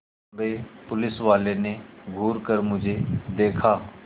लम्बे पुलिसवाले ने घूर कर मुझे देखा